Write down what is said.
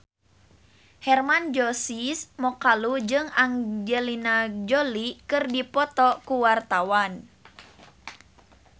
Hermann Josis Mokalu jeung Angelina Jolie keur dipoto ku wartawan